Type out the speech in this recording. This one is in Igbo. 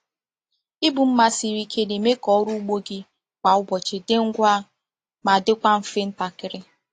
Ibu mma siri ike na-eme ka ọrụ ugbo gị kwa ụbọchị dị ngwa ma dịkwa mfe ntakịrị.